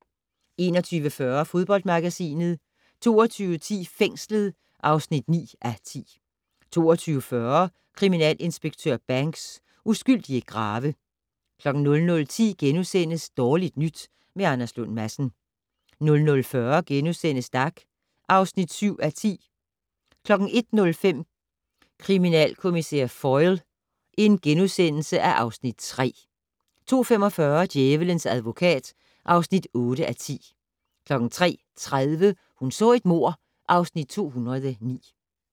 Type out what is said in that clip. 21:40: Fodboldmagasinet 22:10: Fængslet (9:10) 22:40: Kriminalinspektør Banks: Uskyldige grave 00:10: Dårligt nyt med Anders Lund Madsen * 00:40: Dag (7:10)* 01:05: Kriminalkommissær Foyle (Afs. 3)* 02:45: Djævelens advokat (8:10) 03:30: Hun så et mord (Afs. 209)